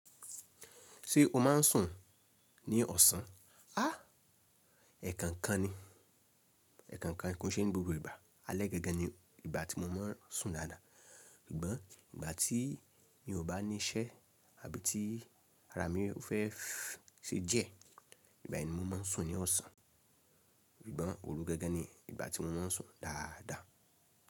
Ṣé o máa n sùn ní ọ̀sán? Áà ẹ̀ kan kan ni, ẹ̀ kan kan kí n ṣe ni gbogbo ìgbà alẹ́ gangan ni ìgbà tí mo máa n sùn dáadáa. Gbọ́n ìgbà tí mi ò bá ní iṣẹ́ àbí ti ara mi ò fẹ́ se jẹ, ìgbà ẹni mo máa n sùn ní ọ̀sán. Gbọ́n òru gangan ni ìgbà tí mo máa n sùn dáadáa.